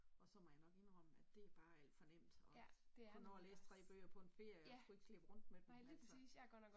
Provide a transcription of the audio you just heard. Og så må jeg nok indrømme at det bare alt for nemt og kunne nå at læse tre bøger på en ferie og skulle ikke slæbe rundt med dem altså